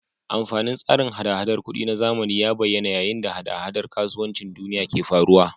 Amfanin tsarin hada-hadar kuɗi na zamani ya bayyana yayin da hada-hadar kasuwancin duniya ke faruwa.